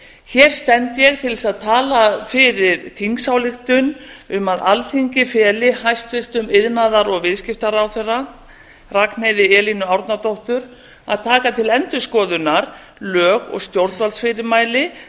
hér stend ég til þess að tala fyrir þingsályktun um að alþingi feli hæstvirtum iðnaðar og viðskiptaráðherra ragnheiði elínu árnadóttur að taka til endurskoðunar lög og stjórnvaldsfyrirmæli